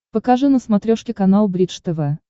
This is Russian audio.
покажи на смотрешке канал бридж тв